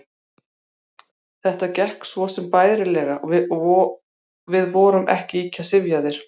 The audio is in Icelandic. Þetta gekk svo sem bærilega og við vorum ekki ýkja syfjaðir.